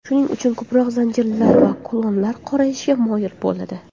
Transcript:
Shuning uchun ko‘proq zanjirlar va kulonlar qorayishga moyil bo‘ladi.